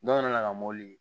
Dɔw nana ka mɔbili